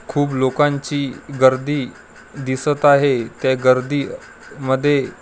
खूप लोकांची गर्दी दिसत आहे त्या गर्दी मध्ये पूर--